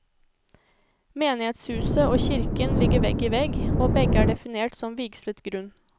Menighetshuset og kirken ligger vegg i vegg, og begge er definert som vigslet grunn.